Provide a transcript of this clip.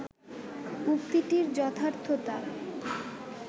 উক্তিটির যথার্থতা